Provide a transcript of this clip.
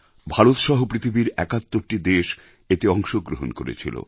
ভারত সহ পৃথিবীর ৭১টি দেশ এতে অংশগ্রহণ করেছিল